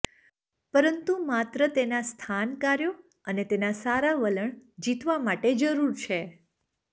પરંતુ માત્ર તેના સ્થાન કાર્યો અને તેના સારા વલણ જીતવા માટે જરૂર છે